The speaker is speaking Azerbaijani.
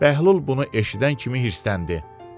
Bəhlul bunu eşidən kimi hirsləndi.